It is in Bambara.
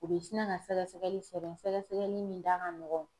U bɛ sina ka sɛgɛsɛgɛli sɛbɛn ;sɛgɛsɛgɛli min da ka nɔgɔn.